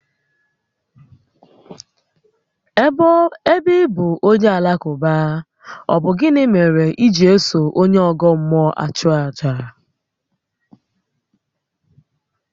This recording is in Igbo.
Ébé ị bụ onye Alakụba, ọ bụ gịnị mèrè iji eso onye ọ́gọ́ mmụọ achu àjà?